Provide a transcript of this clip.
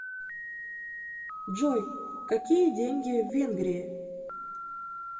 джой какие деньги в венгрии